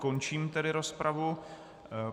Končím tedy rozpravu.